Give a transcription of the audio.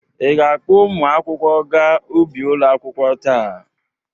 Ị ga-akpọ ụmụ akwụkwọ ga ubi ụlọ akwụkwọ taa?